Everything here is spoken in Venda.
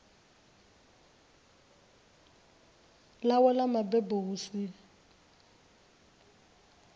ḽawe ḽa mabebo hu si